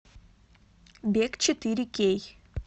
бег четыре кей